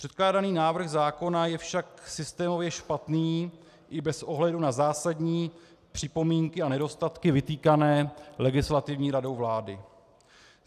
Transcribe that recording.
Předkládaný návrh zákona je však systémově špatný i bez ohledu na zásadní připomínky a nedostatky vytýkané Legislativní radou vlády.